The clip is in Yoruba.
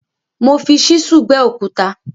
Mo fi ṣísúù gbẹ́ òkúta.